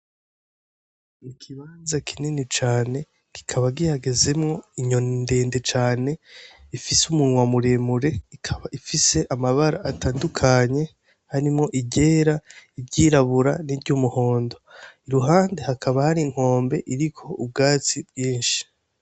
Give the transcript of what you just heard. Ikibanza kinini cane kikaba gihagazwemwo inyoni ndende cane ifise umunwa muremure ikaba ifise amabara atandukanye harimwo iryera, iryirabura, ni ryumuhondo iruhande hakaba hari inkombe iriko ubwatsi bwinshi.